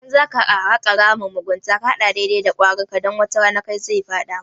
Idan zaka haka ramin mugunta ka haka dai-dai kwarinka, dan wata rana kai zaka fada.